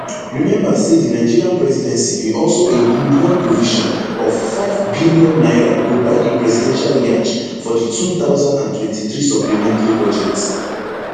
remember say di nigerian presidency bin also include one provision of five billion naira to buy a presidential yacht for di two thousand and twenty-three supplementary budget